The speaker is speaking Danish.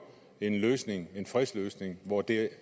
en løsning en fredsløsning hvor det